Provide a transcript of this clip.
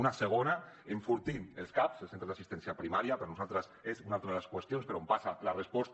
una segona enfortint els caps els centres d’assistència primària per nosaltres és una altra de les qüestions per on passa la resposta